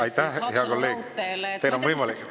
Aitäh, hea kolleeg!